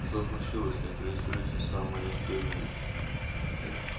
что случилось интересуется самая настырная